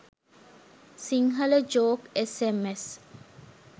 sinhala joke sms